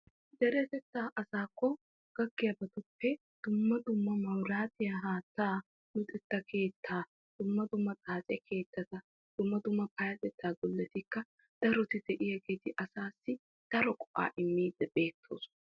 Deretetta asaakko gakkiyabbattuppe dumma dumma mabaratiya haatta luxeta keetta dumma dumma xaace goletikka daroti de'iyaageeti daro go'aa immidi de'iyaageeti beetosonna.